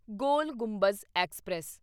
ਗੋਲ Gumbaz express